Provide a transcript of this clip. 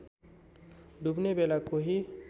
डुब्ने बेला केही